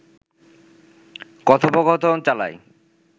কথোপকথন চালায়